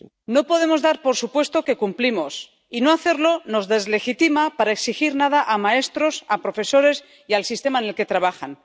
No podemos dar por supuesto que cumplimos, y no hacerlo nos deslegitima para exigir nada a maestros, a profesores y al sistema en el que trabajan.